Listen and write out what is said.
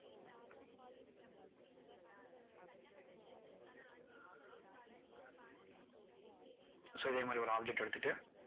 so இதே மாதிரி ஒரு object அ எடுத்துட்டு